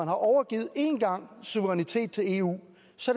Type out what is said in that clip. har overgivet suverænitet til eu